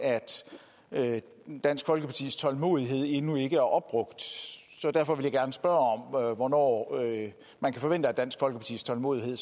at dansk folkepartis tålmodighed endnu ikke er opbrugt så derfor vil jeg gerne spørge hvornår man kan forvente at dansk folkepartis tålmodighed